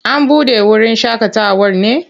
An buɗe wurin shaƙatawar ne?